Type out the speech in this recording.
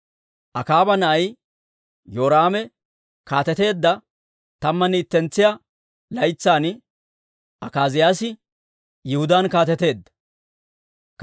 Akaaba na'ay Yoraame kaateteedda tammanne ittentsiyaa laytsan Akaaziyaasi Yihudaan kaateteedda.